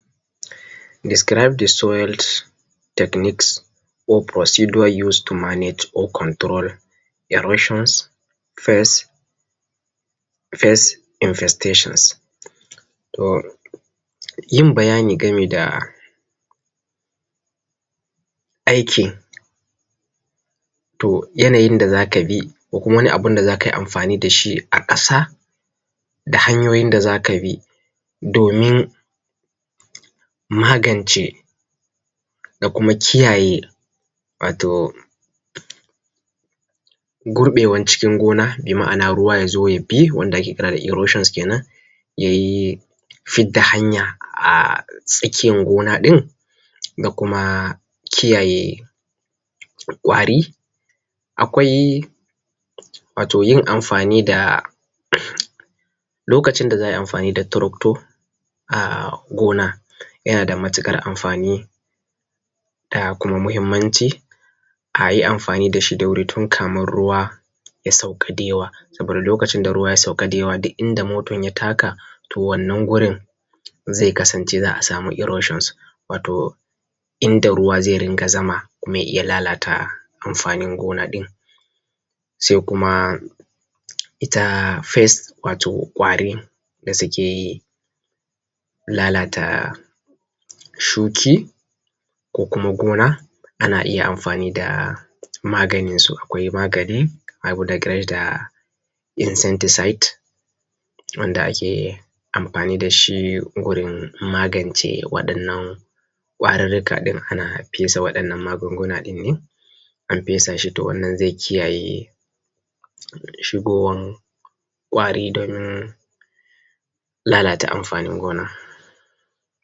Describe the soil technics or precidure use to manage or control erosions fast in fastetion. Yin bayani gami da aiki to yanayin da za ka bi ko kuma wani abun da za kai amfani da shi a ƙasa da hanyoyin da za ka bi domin magance da kuma kiyaye wato gurɓewan cikin gona, bi ma’ana ruwa ya zo ya bi wanda ake kira erosions kenan ya yi fidda hanya a tsakiyan gona ɗin ga kuma kiyaye ƙwari. Akwai wato yin amfani da lokacin da za ayi amfani da tractor a gona yana da matukar amfani da kuma mahimmanci ayi amfani da shi da wuri tukamin ruwa ya sauka da yawa. Saboda lokacin da ruwa ya sauka da yawa duk inda motan ya taka to wannan gonan zai kasance za a samu erosions, wato inda ruwa zai ringa zama kuma ya lalata amfanin gonan ɗin. Sai kuma ita pest wato ƙwarin da suke lalata shuki ko kuma gona ana iya amfani da maganinsu, akwai magani awu dagireda insentiside wanda ake amfani da shi wurin magancen waɗannan ƙwarirrika ɗin ana fesa waɗannan magunguna ɗin ne. An fesa shi to wannan zai kiyaye shigowan ƙwari don lalata amfanin gona